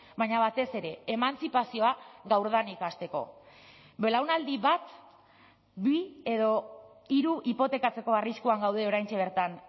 baina batez ere emantzipazioa gaurdanik hasteko belaunaldi bat bi edo hiru hipotekatzeko arriskuan gaude oraintxe bertan